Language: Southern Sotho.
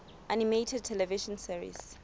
animated television series